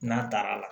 N'a taara la